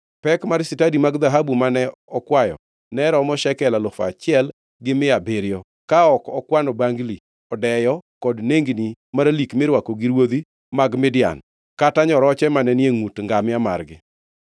Pek mar stadi mag dhahabu mane okwayo ne oromo shekel alufu achiel gi mia abiriyo, ka ok okwano bangli, odeyo kod nengni maralik mirwako gi ruodhi mag Midian kata nyoroche mane ni e ngʼut ngamia margi.